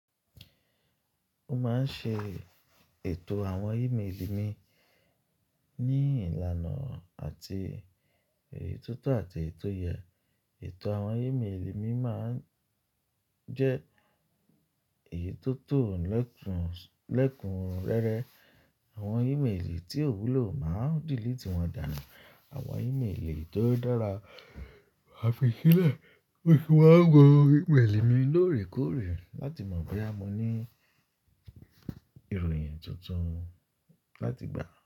Ó máa ń ṣe ètò àwọn ímélì mi ní ìlànà àti eyí tótó àti èyitò yẹ. Ètò àwọn ímélì mi máa ń jẹ́ èyí tó tò lẹ́kun, lẹ́kun rẹ́rẹ́. Àwọn ímélì tí ò wúlò máa delete wọ́n dànù. Àwọn ímélì tó dára, ma fi sílẹ̀. Ó sì máa ń wo ímélì mi lóòrèkóòrè láti mọ̀ boya mo ní ìròyìn tuntun láti gbà.